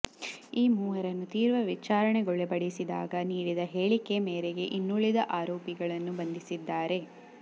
ಈ ಮೂವರನ್ನು ತೀವ್ರ ವಿಚಾರಣೆಗೊಳಪಡಿಸಿದಾಗ ನೀಡಿದ ಹೇಳಿಕೆ ಮೇರೆಗೆ ಇನ್ನುಳಿದ ಆರೋಪಿಗಳನ್ನು ಬಂಧಿಸಿದ್ದಾಾರೆ